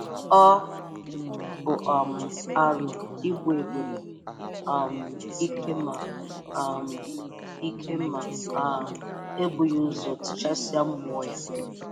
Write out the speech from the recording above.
Ọ bụ um arụ igbu ebula um ike ma um ike ma um e bughị ụzọ tichasịa mmụọ ya